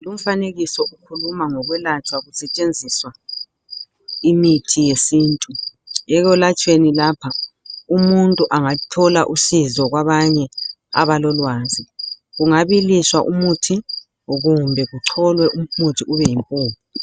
Umfanekiso ukhuluma ngokwelatshwa kusetshenziswa imithi yesintu. Ekwelatshweni lapha umuntu angathola usizo kwabanye abalolwazi, kungabiliswa umuthi kumbe kucholwe umuthi ube yimpuphu .